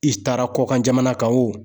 I taara kɔkan jamana kan wo.